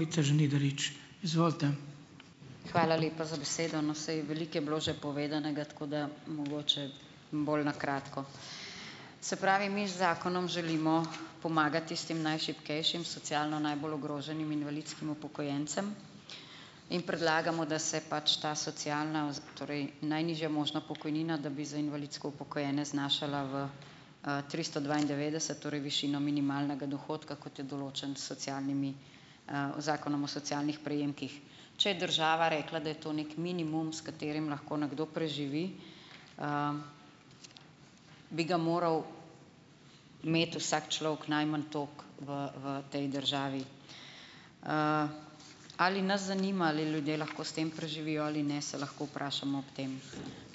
Žnidarič, izvolite. Hvala lepa za besedo. No, saj, veliko je bilo že povedanega, tako da mogoče bolj na kratko. Se pravi, mi z zakonom želimo pomagati tistim najšibkejšim, socialno najbolj ogroženim invalidskim upokojencem in predlagamo, da se pač ta socialna torej najnižja možna pokojnina, da bi za invalidsko upokojene znašala v, tristo dvaindevetdeset, torej višina minimalnega dohodka, kot je določen s socialnimi, zakonom o socialnih prejemkih. Če je država rekla, da je to neki minimum, s katerim lahko nekdo preživi, bi ga moral imeti vsak človek najmanj toliko v, v tej državi. ali nas zanima, ali ljudje lahko s tem preživijo ali ne, se lahko vprašamo ob tem.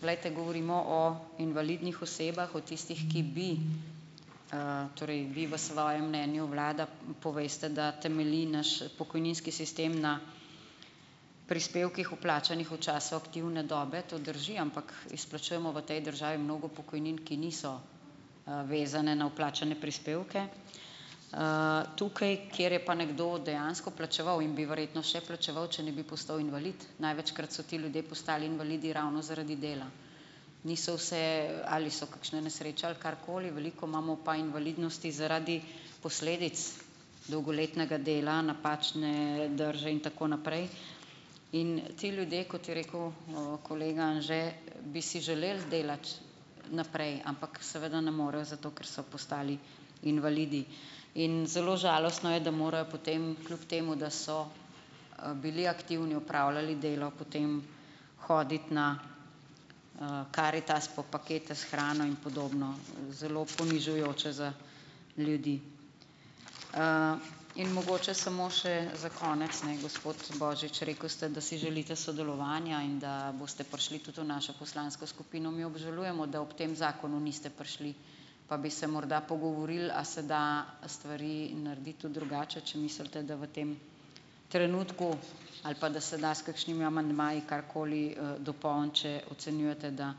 Glejte, govorimo o invalidnih osebah, o tistih, ki bi, torej vi v svojem mnenju, vlada, poveste, da temelji naš pokojninski sistem na prispevkih, vplačanih v času aktivne dobe, to drži, ampak izplačujemo v tej državi mnogo pokojnin, ki niso, vezane na vplačane prispevke. tukaj, ker je pa nekdo dejansko plačeval in bi verjetno še plačeval, če ne bi postal invalid, največkrat so ti ljudje postali invalidi ravno zaradi dela. Niso vse, ali so kakšne nesreče ali karkoli, veliko imamo pa invalidnosti zaradi posledic dolgoletnega dela, napačne drže in tako naprej in ti ljudje, kot je rekel, kolega Anže, bi si želeli delati naprej, ampak seveda ne morejo, zato ker so postali invalidi. In zelo žalostno je, da morajo potem kljub temu, da so, bili aktivni, opravljali delo, potem hoditi na, Karitas po pakete s hrano in podobno . Zelo ponižujoče za ljudi. in mogoče samo še za konec, ne, gospod Božič , rekel ste, da si želite sodelovanja in da boste prišli tudi v našo poslansko skupino. Mi obžalujemo, da ob tem zakonu niste prišli, pa bi se morda pogovorili, a se da stvari narediti tudi drugače , če mislite, da v tem trenutku ali pa da se da s kakšnimi amandmaji karkoli, dopolniti, če ocenjujete, da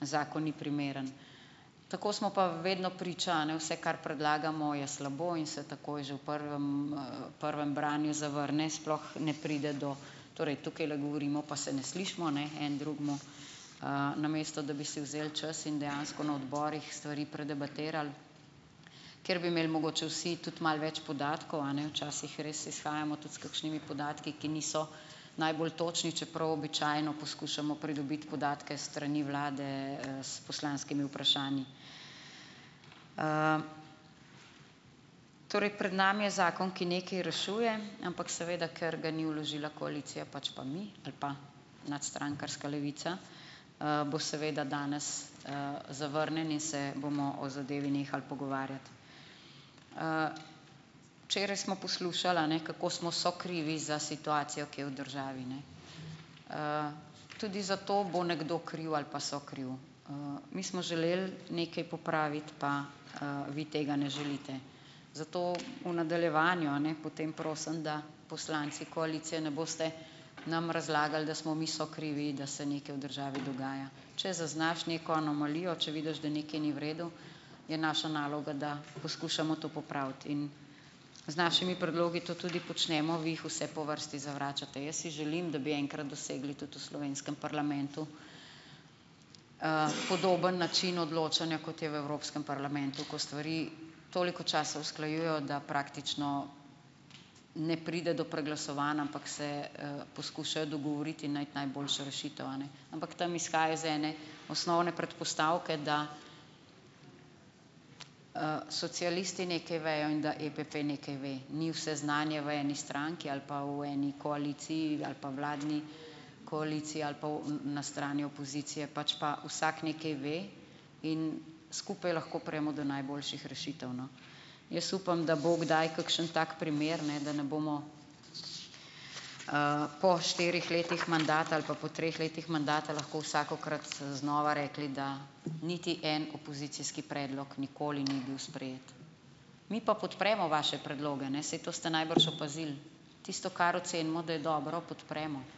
zakon ni primeren. Tako smo pa vedno priča, a ne, vse, kar predlagamo, je slabo in se takoj že v prvem, prvem branju zavrne, sploh ne pride do, torej tukajle govorimo, pa se ne slišimo, ne, en drugemu, namesto da bi si vzeli čas in dejansko na odborih stvari predebatirali, ker bi imel mogoče vsi tudi malo več podatkov, a ne, včasih res izhajamo tudi s kakšnimi podatki, ki niso najbolj točni, čeprav običajno poskušamo pridobiti podatke s strani vlade, s poslanskimi vprašanji. Torej pred nami je zakon, ki nekaj rešuje, ampak seveda, ker ga ni vložila koalicija, pač pa mi, ali pa nadstrankarska Levica, bo seveda danes, zavrnjen in se bomo o zadevi nehal pogovarjati. Včeraj smo poslušali, a ne, kako smo sokrivi za situacijo, ki je v državi, ne. tudi za to bo nekdo kriv ali pa sokriv. mi smo želeli nekaj popraviti pa, vi tega ne želite . Zato v nadaljevanju, a ne, potem prosim , da poslanci koalicije ne boste nam razlagali, da smo mi sokrivi, da se nekaj v državi dogaja . Če zaznaš neko anomalijo, če vidiš, da nekaj ni v redu, je naša naloga, da poskušamo to popraviti. In z našimi predlogi to tudi počnemo , vi jih vse po vrsti zavračate. Jaz si želim, da bi enkrat dosegli tudi v slovenskem parlamentu, podoben način odločanja, kot je v Evropskem parlamentu, ko stvari toliko časa usklajujejo, da praktično ne pride do preglasovanj, ampak se, poskušajo dogovoriti in najti najboljšo rešitev, a ne. Ampak tam izhaja iz ene osnovne predpostavke, da, socialisti nekaj vejo in da EPP nekaj ve. Ni vse znanje v eni stranki ali pa v eni koaliciji ali pa vladni koaliciji ali pa v, na strani opozicije, pač pa vsak nekaj ve in skupaj lahko pridemo do najboljših rešitev, no. Jaz upam, da bo kdaj kakšen tak primer, ne, da ne bomo, po štirih letih mandata ali pa po treh letih mandata lahko vsakokrat znova rekli, da niti en opozicijski predlog nikoli ni bil sprejet. Mi pa podpremo vaše predloge, ne, saj to ste najbrž opazili. Tisto, kar ocenimo, da je dobro, podpremo, ne.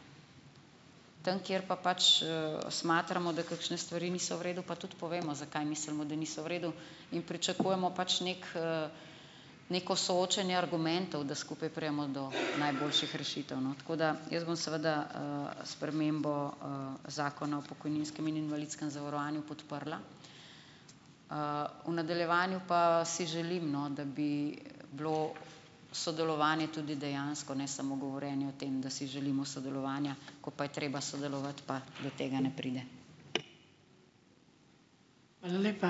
Tam, kjer pa pač, smatramo, da kakšne stvari niso v redu, pa tudi povemo, zakaj mislimo, da niso v redu, in pričakujemo pač neki, neko soočenje argumentov, da skupaj pridemo do najboljših rešitev , no. Tako da, jaz bom seveda, spremembo, zakona o pokojninskem in invalidskem zavarovanju podprla. v nadaljevanju pa si želim, no, da bi bilo sodelovanje tudi dejansko, ne samo govorjenje o tem, da si želimo sodelovanja. Ko pa je treba sodelovati, pa do tega ne pride. Hvala lepa.